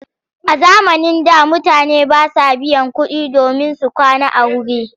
A zamanin da mutane ba sa biyan kuɗi domin su kwana a wuri.